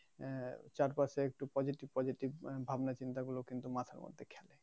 আহ চারপাশে একটু positive positive ভাবনা চিন্তা গুলো কিন্তু মাথার মধ্যে খেলে।